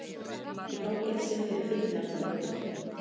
Í fangelsi fyrir fíkniefnabrot